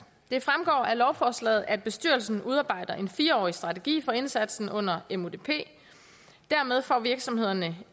det fremgår af lovforslaget at bestyrelsen udarbejder en fire årig strategi for indsatsen under mudp dermed får virksomhederne